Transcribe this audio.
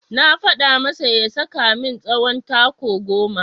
Na faɗa masa ya saka min tsawon taku goma.